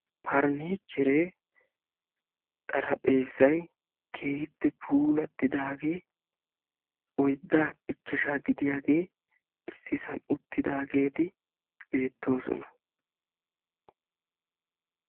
Pariniichcheree xaarphphezay keehippe puulatidaage oyddaa ichchashshaa gidiyagee issisaan attidaageeti beettoosona.